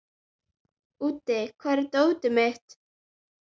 Úddi, hvar er dótið mitt?